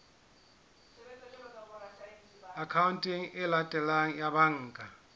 akhaonteng e latelang ya banka